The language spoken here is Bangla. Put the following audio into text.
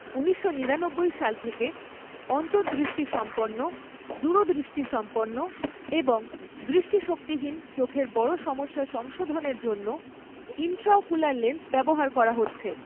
ঊনিশশো নিরানব্বই সাল থেকে অন্তঃদৃষ্টিসম্পন্ন, দূরদৃষ্টিসম্পন্ন এবং দৃষ্টিশক্তিহীন চোখের বড় সমস্যা সংশোধনের জন্য ইন্ট্রাওকুলার লেন্স ব্যবহার করা হচ্ছে।